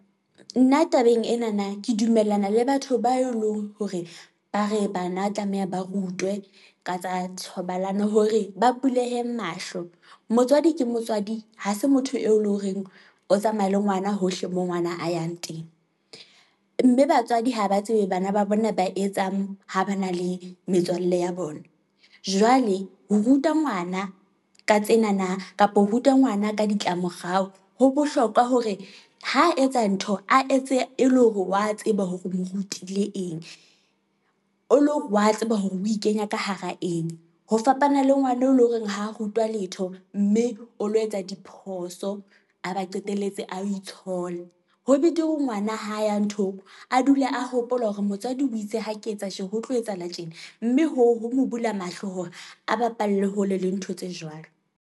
Nna tabeng enana, ke dumellana le batho ba elong hore ba re bana tlameha ba rutwe ka tsa thobalano, hore ba bulehe mahlo. Motswadi ke motswadi ha se motho eo le horeng o tsamaye le ngwana hohle, mo ngwana a yang teng, mme batswadi ha ba tsebe bana ba bona ba etsang ha ba na le metswalle ya bona. Jwale ho ruta ngwana ka tsenana kapa ho ruta ngwana ka ditla morao, ho bohlokwa hore ho etsa ntho, a etse e le hore wa tseba hore o mo rutile eng, o lore wa tseba hore o e kenya ka hara eng, ho fapana le ngwana eo e leng horeng ho rutwa letho, mme o lo etsa diphoso, a ba qetelletse a itshola. Ho betere ho ngwana ha ya nthong, a dule a hopola hore motswadi o itse ha ke etsa tje ho tlo etsahala tjena, mme hoo ho mo bula mahlo hore a bapalle hole le ntho tse jwalo.